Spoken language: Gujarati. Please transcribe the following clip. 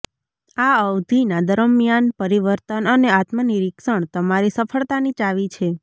આ અવધી ના દરમિયાન પરિવર્તન અને આત્મનિરીક્ષણ તમારી સફળતા ની ચાવી છે